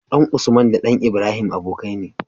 ɗan usman da ɗan ibrahim abokai ne